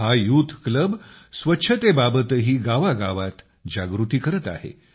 हा youth club स्वच्छतेबाबतही गावागावात जागृती करत आहे